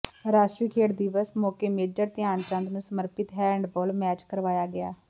ਰਾਸ਼ਟਰੀ ਖੇਡ ਦਿਵਸ ਮੌਕੇ ਮੇਜਰ ਧਿਆਨ ਚੰਦ ਨੂੰ ਸਮਰਪਿਤ ਹੈਂਡਬਾਲ ਮੈਚ ਕਰਵਾਇਆ ਗਿਆ